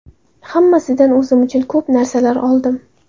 Hammasidan o‘zim uchun ko‘p narsalar oldim.